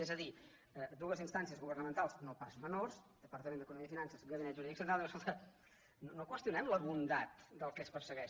és a dir dues instàncies governamentals no pas menors departament d’economia i finances gabinet jurídic central diuen escolta no qüestio·nem la bondat del que es persegueix